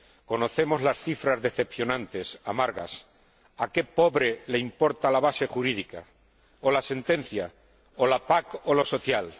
Conocemos las cifras decepcionantes, amargas. ¿A qué pobre le importa la base jurídica, o la sentencia, o la PAC, o lo social?